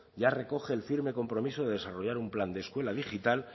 ya recoge el firme compromiso de desarrollar un plan de escuela digital